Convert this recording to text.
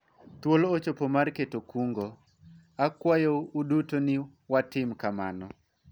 thuolo ochopo mar keto kungo ,akwayo uduto ni watim kamano